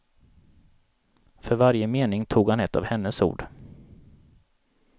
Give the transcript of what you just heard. För varje mening tog han ett av hennes ord.